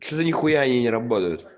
что-то нехуя они не работают